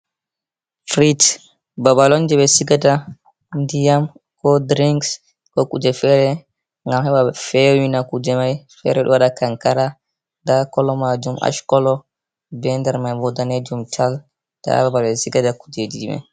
Frej babal on je ɓe sigada ndiyam ko drings ko kuje fere ngam heɓa fewina kuje mai fere ɗo waɗa kankara nda kolo majum ash kolo be nder mai bo danejum tal nda babal ɓe sigata kujeji mai.